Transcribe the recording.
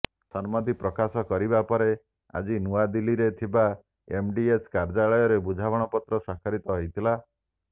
ସମ୍ମିତି ପ୍ରକାଶ କରିବା ପରେ ଆଜି ନୂଆଦିଲ୍ଲୀରେ ଥିବା ଏମ୍ଡିଏଚ୍ କାର୍ଯ୍ୟାଳୟଠାରେ ବୁଝାମଣାପତ୍ର ସ୍ୱାକ୍ଷରିତ ହୋଇଥିଲା